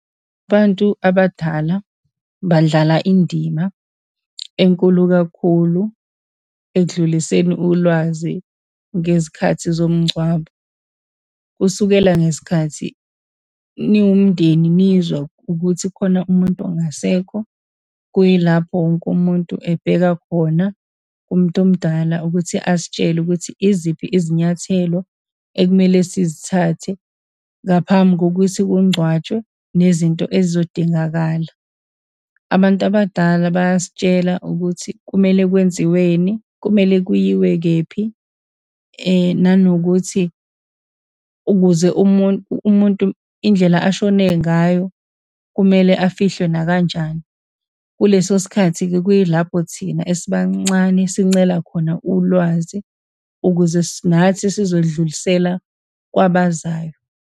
Abantu abadala badlala indima enkulu kakhulu ekudluliseni ulwazi ngezikhathi zomngcwabo. Kusukela ngesikhathi niwumndeni, nizwa ukuthi khona umuntu ongasekho, kuyilapho wonke umuntu ebheka khona kumuntu omdala ukuthi asitshele ukuthi, iziphi izinyathelo ekumele sizithathe ngaphambi kokuthi kungcwatshwe nezinto ezizodingakala. Abantu abadala bayasitshela ukuthi kumele kwenziweni, kumele kuyiwe kephi, nanokuthi ukuze umuntu indlela ashone ngayo kumele afihliwe nakanjani. Kuleso sikhathi-ke, kuyilapho thina esibancane sincela khona ulwazi ukuze nathi sizodlulisela kwabazayo.